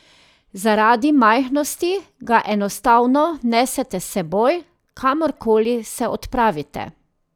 Zaradi majhnosti ga enostavno nesete s seboj, kamorkoli se odpravite.